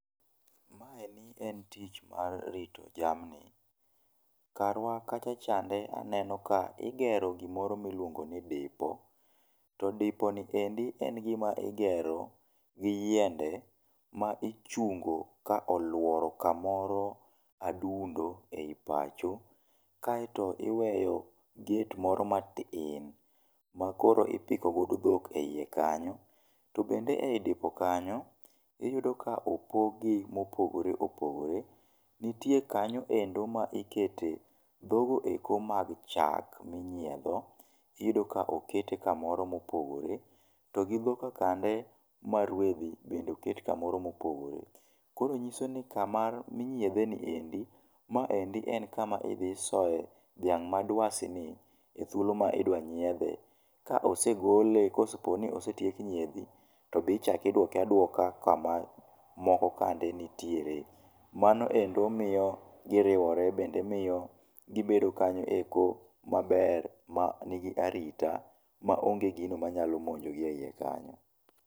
Maeni en tich mar rito jamni. Karwa kacha chande aneno ka igero gimoro miluongo ni dipo, ti dipo ni endi en gima igero gi yiende ma ichungo ka oluoro kamoro adundo ei pacho, kae to iweyo gate moro matin makoro ipiko godo dhok e ie kanyo. To bende ei dipo kanyo, iyudo ka opog gi mopogore opogore. Nitie kanyo endo ma ikete dhogo eko mag chak minyiendo, iyudo ka okete kamoro mopogore to gi dhogka kande ma rwedhi bende oket kamoro mopogore. Koro nyiso ni kama inyiedhe ni endi, ma endi en kama idhi isoye dhiang' ma dwasi ni e thuolo ma idwa nyiedhe, ka osegole koseponi osetiek nyiedhi to be ichak iduoke aduoka kama moko kande nitiere. Mano endo miyo giriwore bende miyo gibedo kanyo eko maber ma nigi arita ma onge gino manyalo monjo gi e ie kanyo.